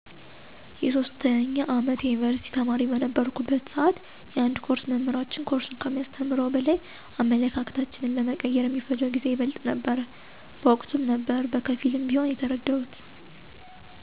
የ3ኛ አመት የዩኒቭርሲቲ ተማሪ በነበረሁበት ስዓት የአንድ ኮርስ መምህራችን ኮርሱን ከሚያስተምረው በላይ አመለካከታችን ለመቀየር የሚፈጀው ጊዜ ይበልጥ ነበረ። በወቅቱም ነበር በከፊልም ቢሆን የተረደሁት።